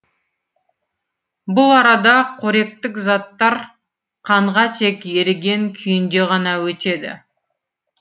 бұл арада қоректік заттар қанға тек еріген күйінде ғана өтеді